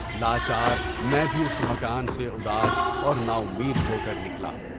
لاچار میں بھی اُس مکان سے اداس اور ناامید ہو کر نکلا۔